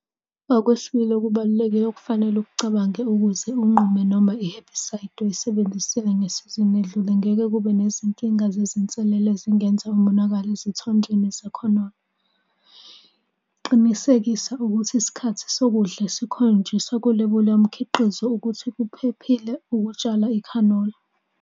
Okwesibili okubalulekile okufanele ukucabange ukuze unqume noma i-herbicide oyisebenzisile ngesizini edlule ngeke kube nezinkinga zezinsalela ezingenza umonakalo ezithonjeni zekhanola. Qinisekisa ukuthi isikhathi sokuqodla esikhonjiswa kulebula yomkhiqizo ukuthi kuphephile ukutshala ikhanola.